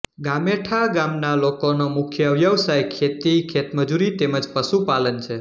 ગામેઠા ગામના લોકોનો મુખ્ય વ્યવસાય ખેતી ખેતમજૂરી તેમ જ પશુપાલન છે